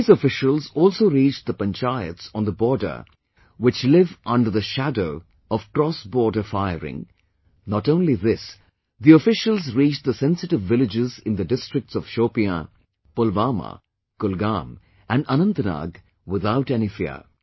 These officials also reached the panchayats on the border which live under the shadow of crossborder firing, not only this the officials reached the sensitive villages in the districts of Shopian, Pulwama, Kulgam and Anantnag, without any fear